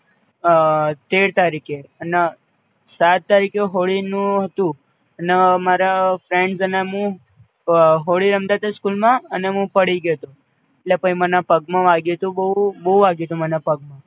અ તેર તારીખે અને સાત તારીખે હોળી નું હતું, અને માર friends અને મું હોળી રમતાતા school મું પડી ગ્યોતો, એટલે પઈ મને પગમાં વાગ્યુંતુ બઉ બોવ વાગ્યુંતુ મને પગમાં